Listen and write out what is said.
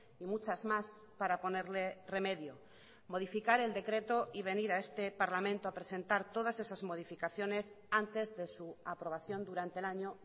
y muchas más para ponerle remedio modificar el decreto y venir a este parlamento a presentar todas esas modificaciones antes de su aprobación durante el año